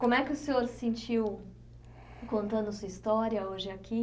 Como é que o senhor se sentiu contando sua história hoje aqui?